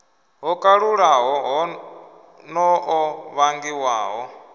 ho kalulaho no ḓo vhangiwaho